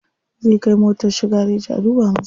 Zai kai motar shi gareji a duba masa.